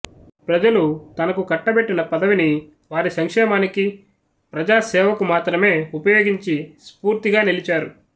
ప్రజలు తనకు కట్టబెట్టిన పదవిని వారి సంక్షేమానికి ప్రజా సేవకు మాత్రమే ఉపయోగించి స్ఫూర్తిగా నిలిచారు